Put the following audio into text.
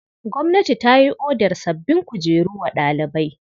Gwamnati ta yi odar sabbin kujeru wa ɗalibai.